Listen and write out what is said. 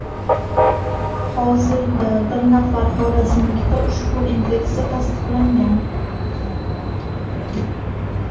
Hozirda bir nafar xorazmlikda ushbu infeksiya tasdiqlangan.